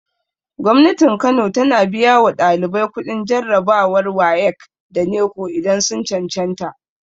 Gwamnatin kano tana biya wa ɗalibai kuɗin jarabawar wayek da neko idan sun cancanta